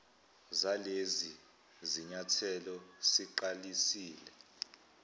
zalezi zinyathelo siqalisile